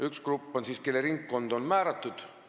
Üks grupp on selline, kellele on ringkond määratud.